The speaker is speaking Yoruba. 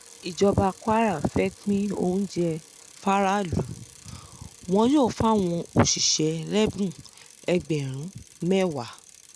ìjọba kwara fẹ́ẹ́ pín oúnjẹ fáráàlú wọn yóò fáwọn òṣìṣẹ́ lẹ́bùn ẹgbẹ̀rún mẹ́wàá